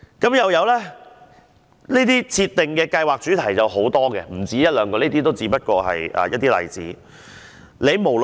吳曉真又指這類設定計劃主題有很多，不止一兩個項目，這只不過是一些例子。